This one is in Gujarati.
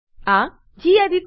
આ ગેડિટ